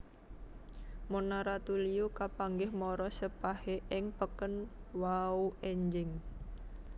Mona Ratuliu kepanggih morosepahe ing peken wau enjing